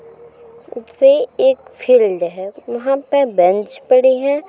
वे एक फील्ड है वहाँ पे बेंच पड़े हैं।